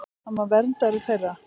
Hann var verndari þeirra.